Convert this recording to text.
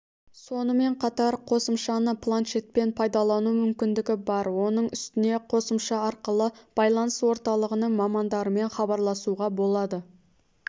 сонымен қатар қосымшаны планшетпен пайдалану мүмкіндігі бар оның үстіне қосымша арқылы байланыс орталығының мамандарымен хабарласуға болады